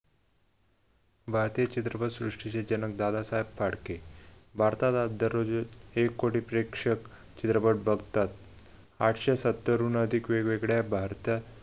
भारतीय चित्रपटसृष्टीचे जनक दादासाहेब फाडके भारतात दररोज एक कोटी प्रेक्षक चित्रपट बघतात आठशे सत्तरहून अधिक वेगवेगळ्या भारतात